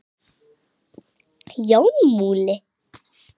Jón Múli